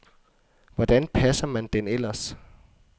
Hvordan passer man den ellers.